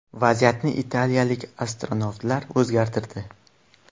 Vaziyatni italiyalik astronavtlar o‘zgartirdi.